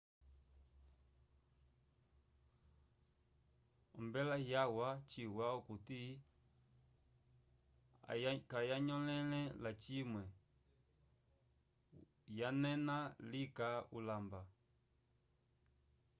ombela yawa chiwa okuti ayanyõlele lacimwe yanena lika ulamba